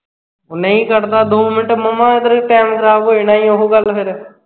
ਉਹ ਨਹੀਂ ਕੱਢਦਾ ਦੋ ਮਿੰਟ ਮਾਮਾ ਏਧਰ time ਖਰਾਬ ਹੋ ਜਾਣਾ ਈ ਓਹ ਗੱਲ ਫਿਰ